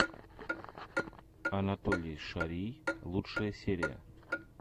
анатолий шарий лучшая серия